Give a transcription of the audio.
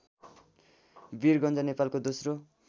वीरगञ्ज नेपालको दोश्रो